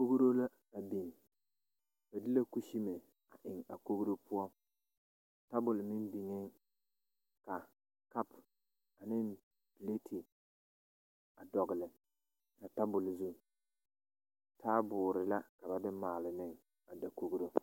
Kogro la a biŋ ba de la kusin a eŋ a kogro poɔ tabol meŋ biŋeŋ ka kapane pilete a dɔgle a tabol zu taaboɔre la ka ba de maale ne a dakogro.